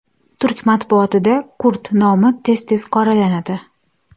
Turk matbuotida kurd nomi tez tez qoralanadi.